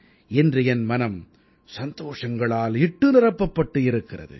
இன்று என் மனம் சந்தோஷங்களால் இட்டு நிரப்பப்பட்டு இருக்கிறது